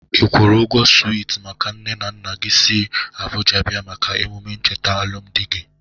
I kwụrụ ụgwọ switi maka nne na nna gi siri Abụja bia maka emụme ncheta alụmdị gị?